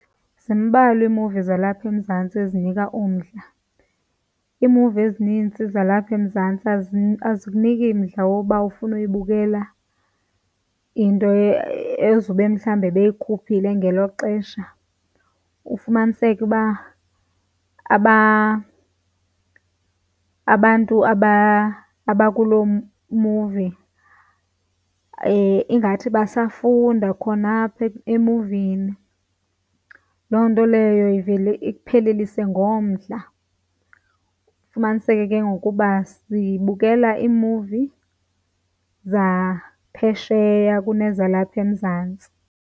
Zimbalwa iimuvi zalapha eMzantsi ezinika umdla. Iimuvi ezinintsi zalapha eMzantsi azikuniki mdla woba ufuna uyibukela into ezobe mhlawumbi beyikhuphile ngelo xesha. Ufumaniseke uba abantu abakuloo movie ingathi basafunda khona apha emuvini. Loo nto leyo ivele ikuphelelise ngomdla, ufumaniseke ke ngoku uba sibukela iimuvi zaphesheya kunezalapha eMzantsi.